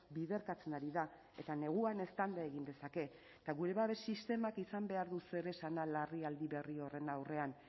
biderkatzen ari da eta neguan eztanda egin dezake eta gure babes sistemak izan behar du zeresana larrialdi berri horren aurrean